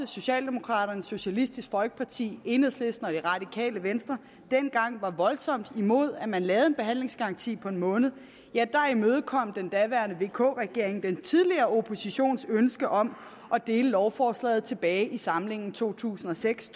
socialdemokraterne socialistisk folkeparti enhedslisten og det radikale venstre dengang voldsomt var imod at man lavede en behandlingsgaranti på en måned imødekom den daværende vk regering den tidligere oppositions ønske om at dele lovforslaget tilbage i samlingen to tusind og seks